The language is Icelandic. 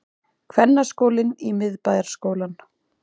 Kvennaskólinn í Miðbæjarskólann